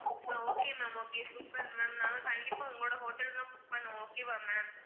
அஹ் okay ma'am okay super mam நான் கண்டிப்பா உங்களோட hotel தான் book பண்ணுவோம் okay வா ma'am